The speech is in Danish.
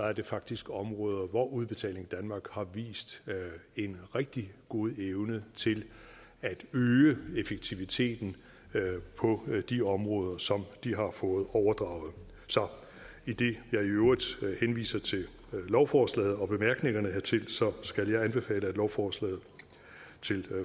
er det faktisk områder hvor udbetaling danmark har vist en rigtig god evne til at øge effektiviteten på de områder som de har fået overdraget så idet jeg i øvrigt henviser til lovforslaget og bemærkningerne hertil skal jeg anbefale lovforslaget til